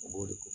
O b'o de